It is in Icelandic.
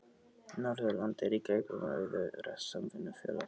Norðurland er í greipum rauðu samvinnufélaganna.